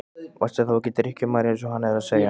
Varstu þá ekki drykkjumaður eins og hann er að segja?